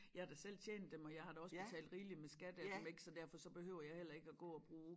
Jeg har da selv tjent dem og jeg har da også betalt rigeligt med skat af dem ik så derfor så behøver jeg heller ikke at gå og bruge